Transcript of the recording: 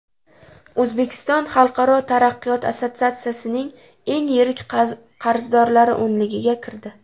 O‘zbekiston Xalqaro taraqqiyot assotsiatsiyasining eng yirik qarzdorlari o‘nligiga kirdi.